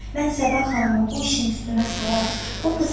Mən Səbah xanımı bu işin üstünə salaram.